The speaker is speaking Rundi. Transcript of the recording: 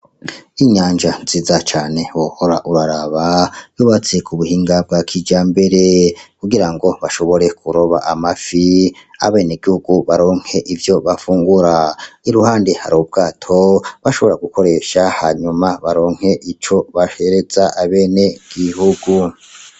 Inyanja nziza cane wohora uraraba, zubatse ku buhinga bwa kijambere kugirango bashobore kuroba amafi, abenegihugu baronke ivyo bafungura. Iruhande hari ubwato bashobora gukoresha hanyuma baronke ico bahereza abenegihugu.